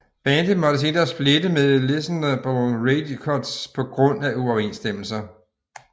Bandet måtte senere splitte med Listenable Records på grund af uoverensstemmelser